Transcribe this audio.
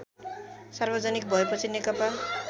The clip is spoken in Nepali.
सार्वजनिक भएपछि नेकपा